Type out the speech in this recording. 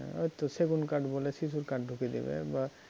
ওই তো সেগুন কাঠ বলে শিশু কাঠ ঢুকিয়ে দেবে বা